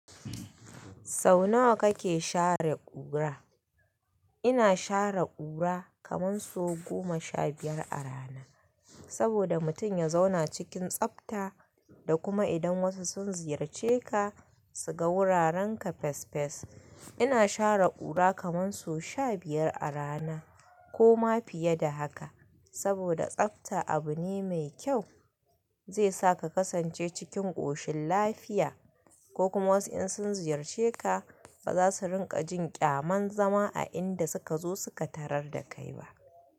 Sau nawa kake share ƙura? Ina share ƙura kaman so goma sha biyar a rana. Saboda mutum ya zauna cikin tsabta da kuma idan wasu sun ziyarce ka su ga wurarenka fes fes. Ina share ƙura kaman so sha biyar a rana ko ma fiye da haka. Saboda tsabta abu ne mai kyau, zai sa ka kasance cikin ƙoshin lafiya ko kuma wasu in sun ziyarce ka, ba za su rinƙa jin ƙyamanzama a inda suka zo suka tarar da kai ba.